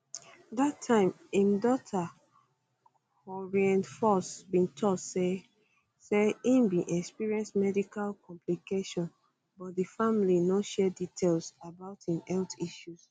dat time im daughter corinne foxx bin tok say say e bin experience medical complication but di family no share details about im health issues